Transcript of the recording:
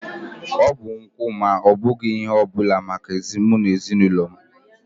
Ọ bụ nkwụ ma ọ bụghị ihe ọ bụla maka mụ na ezinụlọ m